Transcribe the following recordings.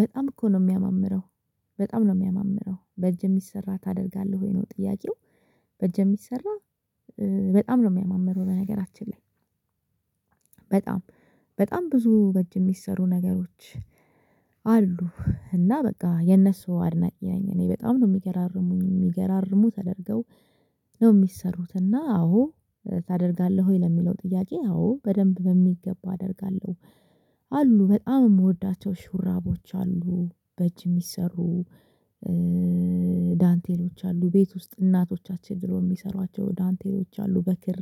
በጣም እኮ ነው ሚያማምረው በጣም ነው ሚያማምረው በእጅ የሚሰራ ታደርጋለህ ወይ ነው ጥያቄው? በእጅ የሚሰራ በጣም ነው የሚያማምረው በነገራችን ላይ። በጣም በጣም ብዙ በእጅ የሚሰሩ ነገሮች። አሉ እና በቃ የነሱ አድናቂ እኔ በጣም ነው የሚገራርሙኝ የሚገራርሙ ተደርገው ነው የሚሰሩት እና አዎ ታደርጋለህ ወይ ለሚለው ጥያቄ አዎ በደንብ በሚገባ አደርጋለሁ። አሉ በጣም የምወዳቸው ሹራቦች አሉ በእጅ የሚሰሩ። ዳንቴሎች አሉ ቤት ውስጥ እናቶቻችን ድሮ የሚሰሯቸው ዳንቴሎች አሉ በክር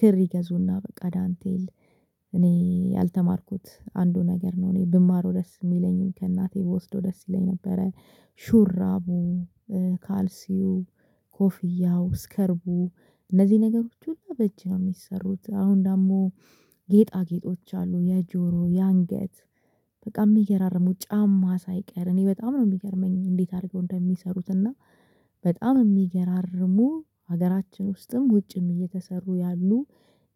ክር ይገዙና በቃ ዳንቴል። እኔ ያልተማርኩት አንዱ ነገር ነው እኔ ብማረው ደስ የሚለኝ ከእናቴ ብወስደው ደስ ይለኝ ነበረ። ሹራቡ ካልሲው ኮፍያው ስከርቡ እነዚህ ነገሮች ሁሉ በእጅ ነው የሚሰሩት አሁን ደግሞ ጌጣጌጦች አሉ የጆሮ የአንገት በቃ የሚገራርሙ ጫማ ሳይቀር እኔ በጣም ነው የሚገርመኝ። እንዴት አድርገው እንደሚሰሩት እና በጣም የሚገራርሙ ሀገራችን ውስጥም ውጭም እየተሰሩ ያሉ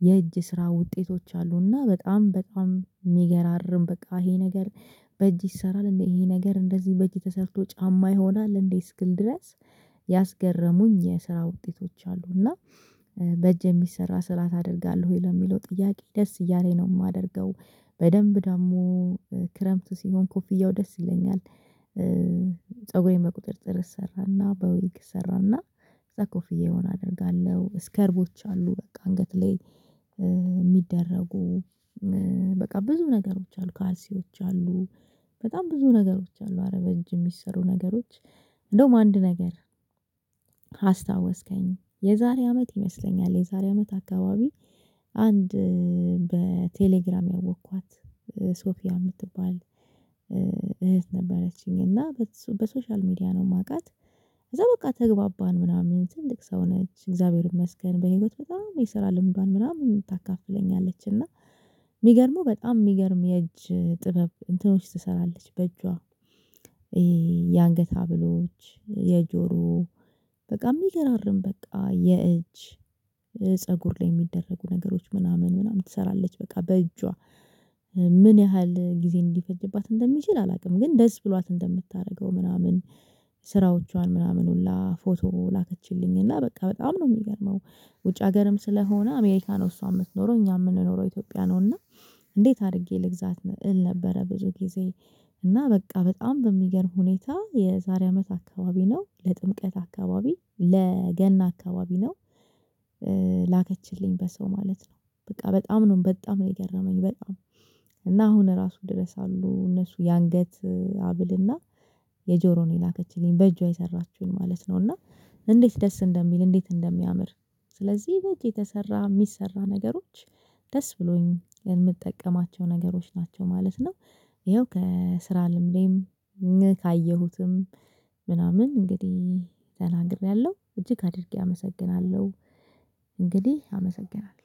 የእጅ ስራ ውጤቶች አሉና በጣም በጣም የሚገራርም በቃ ይሄ ነገር። በእጅ ይሰራል እንዴ ይሄ ነገር እንደዚህ በእጅ ተሰርቶ ጫማ ይሆናል እንዴ እስክል ድረስ። ያስገረሙኝ የስራ ውጤቶች አሉና በእጅ የሚሰራ ስራ ታደርጋለህ ወይ ለሚለው ጥያቄ ደስ እያለኝ ነው የማደርገው። በደንብ ደግሞ ክረምት ሲሆን ኮፍያው ደስ ይለኛል። ፀጉሬን በቁጥጥር እሰራና በዊግ እሰራና ከዛ ኮፍያውን አደርጋለሁ ስከርቦች አሉ በቃ አንገት ላይ የሚደረጉ በቃ ብዙ ነገሮች አሉ ካልሲዎች አሉ በጣም ብዙ ነገሮች አሉ አረ በእጅ የሚሰሩ ነገሮች። እንደውም አንድ ነገር አስታወስከኝ የዛሬ አመት ይመስለኛል የዛሬ አመት አካባቢ አንድ በቴሌግራም ያወኳት። ሶፊያ የምትባል እህት ነበረችኝ እና በሶሻል ሚዲያ ነው የማውቃት። እዛ በቃ ተግባባን ምናምን ትልቅ ሰው ነች እግዚአብሔር ይመስገን በህይወት በጣም የስራ ልምዷን ምናምን ታካፍለኛለች እና የሚገርመው በጣም የሚገርም የእጅ ጥበብ እንትኖች ትሰራለች በእጇ። የአንገት ሃብሎች የጆሮ በቃ የሚገራርም በቃ የእጅ ፀጉር ላይ የሚደረጉ ነገሮች ምናምን ምናምን ትሰራለች። በቃ በእጇ ምን ያህል ጊዜ ሊፈጅባት እንደሚችል አላውቅም። ግን ደስ ብሏት እንደምታደርገው ምናምን ስራዎቿን ምናምን ሁላ ፎቶ ላከችልኝ እና በቃ በጣም ነው የሚገርመው። ውጭ ሀገርም ስለሆነ አሜሪካ ነው እሷ የምትኖረው እኛ የምንኖረው ኢትዮጵያ ነው እና እንዴት አድርጌ ልግዛት እል ነበረ? ብዙ ጊዜ እና በቃ በጣም በሚገርም ሁኔታ የዛሬ አመት አካባቢ ነው ለጥምቀት አካባቢ ለገና አካባቢ ነው። ላከችልኝ በሰው ማለት ነው በቃ በጣም ነው በጣም ነው የገረመኝ። በጣም እና አሁን ራሱ ድረስ አሉ እነሱ የአንገት ሃብልና የጆሮ ነው የላከችልኝ በእጇ የሰራችውን ማለት ነው። እና እንዴት ደስ እንደሚል እንዴት እንደሚያምር ስለዚህ በእጅ የተሰራ የሚሰራ ነገሮች ደስ ብሎኝ የምጠቀማቸው ነገሮች ናቸው ማለት ነው። ይኸው ከስራ ልምዴም ካየሁትም ምናምን እንግዲህ ተናግሬያለሁ እጅግ አድርጌ አመሰግናለሁ። እንግዲህ አመሰግናለሁ